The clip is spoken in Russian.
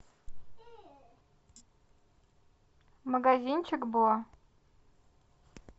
магазинчик бо